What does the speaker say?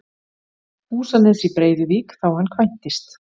Húsanes í Breiðuvík þá hann kvæntist.